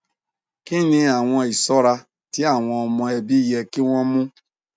kini awọn iṣọra ti awọn ọmọ ẹbi yẹ ki wọn mu